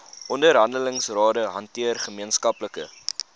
onderhandelingsrade hanteer gemeenskaplike